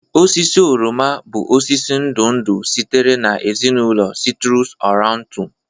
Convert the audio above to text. Osisi oroma bụ osisi ndụ ndụ sitere na ezinụlọ citrus aurantum